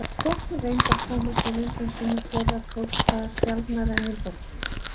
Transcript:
Þótt hún reyndi að koma sér undan sumum þeirra tókst það sjaldnar en í borginni.